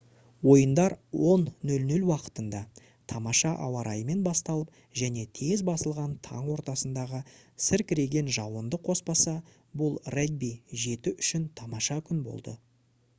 ойындар 10 00 уақытында тамаша ауа-райымен басталып және тез басылған таң ортасындағы сіркіреген жауынды қоспаса бұл регби-7 үшін тамаша күн болды